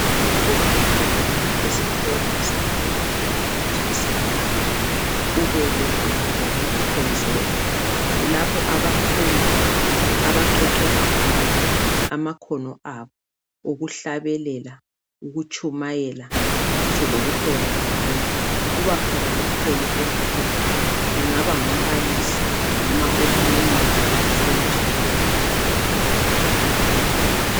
Kuvamile ukuthi esikolo semfundo yaphansi iSecondary kube legumbi lokukhonzela. Kulapho abafundi abaqeqetsha khona amakhono abo okuhlabelela, ukutshumayela ngitsho lokuhola abanye. Kubakhona umholi omkhulu, engaba ngumbalisi noma omunye wabafundi.